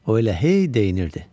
O elə hey deyinirdi.